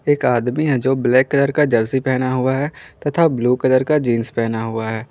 एक आदमी है जो ब्लैक कलर का जर्सी पहने हुआ है तथा ब्लू कलर का जींस पहना हुआ है।